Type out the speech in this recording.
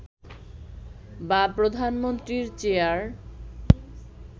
বা প্রধানমন্ত্রীর চেয়ার